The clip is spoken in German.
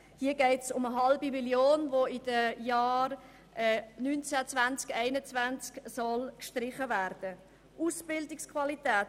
Hier geht es um 0,5 Mio. Franken, die in den Jahren 2019, 2020 und 2021 gestrichen werden soll.